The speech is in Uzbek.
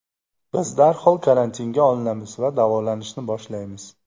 Biz darhol karantinga olinamiz va davolanishni boshlaymiz.